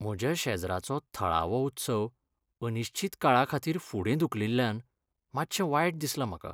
म्हज्या शेजराचो थळावो उत्सव अनिश्चित काळाखातीर फुडें धुकलिल्ल्यान मातशें वायट दिसलां म्हाका.